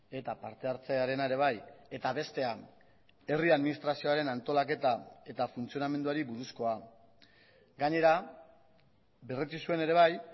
eta parte hartzearena ere bai eta bestea herri administrazioaren antolaketa eta funtzionamenduari buruzkoa gainera berretsi zuen ere bai